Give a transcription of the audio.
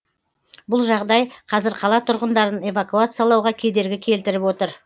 бұл жағдай қазір қала тұрғындарын эвакуациялауға кедергі келтіріп отыр